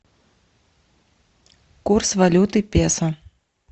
курс валюты песо